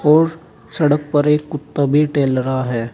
और सड़क पर एक कुत्ता भी टहल रहा है।